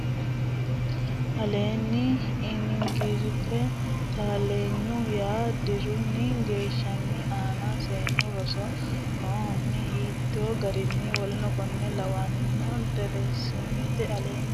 aleenni ini giraafe Taallenya yaa dirunni geeshshunni aana seennu roso nohunni hiitti giraafe w k l nni deerrisamate aleenni ini.